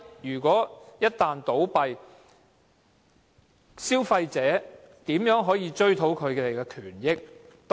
如果龕場一旦倒閉，消費者可以怎樣追討賠償？